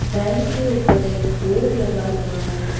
Bank के ऊपर एक बोर्ड लगा हुआ है।